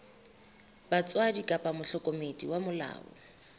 batswadi kapa mohlokomedi wa molao